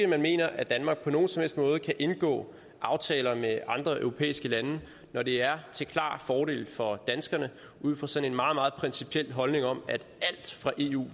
man mener at danmark ikke på nogen som helst måde kan indgå aftaler med andre europæiske lande når det er til klar fordel for danskerne ud fra sådan en meget meget principiel holdning om at alt fra eu